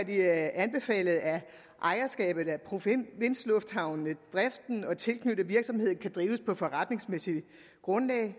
anbefalet at ejerskabet af provinslufthavnene driften og de tilknyttede virksomheder drives på forretningsmæssigt grundlag